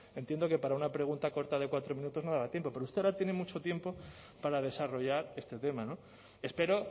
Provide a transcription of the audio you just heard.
entiendo que para una pregunta corta de cuatro minutos no le va a dar tiempo pero usted ahora tiene mucho tiempo para desarrollar este tema espero